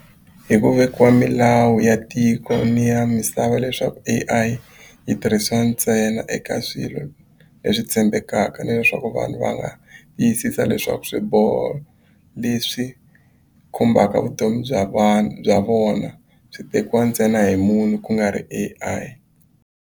Hi ku vekiwa milawu ya tiko ni ya misava leswaku A_I yi tirhisiwa ntsena eka swilo leswi tshembekaka ni leswaku vanhu va nga tiyisisa leswaku swiboho leswi khumbaka vutomi bya vanhu bya vona byi tekiwa ntsena hi munhu ku nga ri A_I.